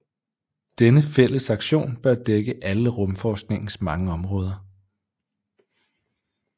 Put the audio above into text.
Denne fælles aktion bør dække alle rumforskningens mange områder